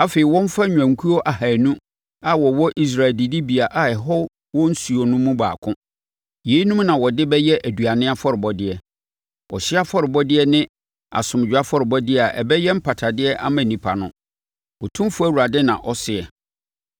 Afei wɔmfa nnwankuo ahanu a wɔwɔ Israel adidibea a ɛhɔ wɔ nsuo no mu baako. Yeinom na wɔde bɛyɛ aduane afɔrebɔdeɛ, ɔhyeɛ afɔrebɔdeɛ ne asomdwoeɛ afɔrebɔdeɛ a ɛbɛyɛ mpatadeɛ ama nnipa no, Otumfoɔ Awurade na ɔseɛ.